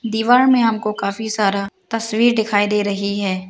दीवार में हमको काफी सारा तस्वीर दिखाई दे रही है।